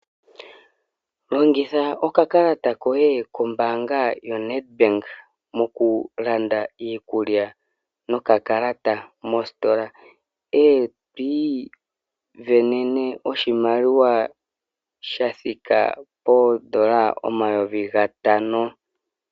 Longitha oka kalata koye kombaanga yo Nedbank mokulanda iikulya no ka kalata mositola. Eto isindanena oshimaliwa sha thika poondola omayovi gatano.